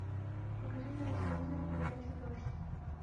покажи мне на телевизоре передачу дождь